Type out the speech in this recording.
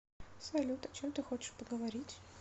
салют о чем ты хочешь поговорить